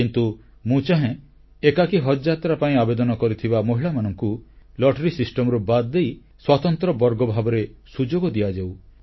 କିନ୍ତୁ ମୁଁ ଚାହେଁ ଏକାକୀ ହଜଯାତ୍ରା ପାଇଁ ଆବେଦନ କରିଥିବା ମହିଳାମାନଙ୍କୁ ଲଟେରି ବ୍ୟବସ୍ଥାରୁ ବାଦ ଦେଇ ସ୍ୱତନ୍ତ୍ର ବର୍ଗ ଭାବରେ ସୁଯୋଗ ଦିଆଯାଉ